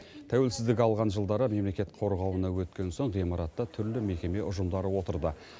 тәуелсіздік алған жылдары мемлекет қорғауына өткен соң ғимаратта түрлі мекеме ұжымдары отырды